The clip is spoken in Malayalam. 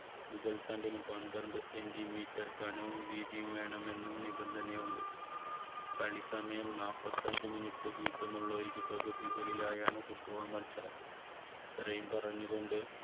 മുകൾ തണ്ടിനും പന്ത്രണ്ട് centimeter കനവും വീതിയും വേണമെന്ന് നിബന്ധനയുണ്ട് കളി സമയം നാൽപ്പത്തഞ്ച് minute വീതം ഉള്ള ഇരുപകുതികളിലായാണ് football മത്സരം. ഇത്രയും പറഞ്ഞുകൊണ്ട്